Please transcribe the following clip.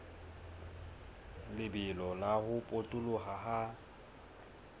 lebelo la ho potoloha ha